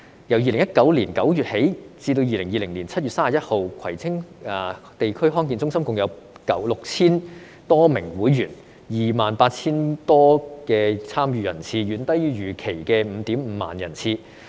由2019年9月起至2020年7月31日，葵青地區康健中心共有 6,000 多名會員 ，28,000 多參與人次，遠低於預期的 55,000 人次。